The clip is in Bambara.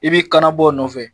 I b'i kan na bɔ o nɔfɛ